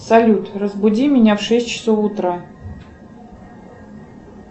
салют разбуди меня в шесть часов утра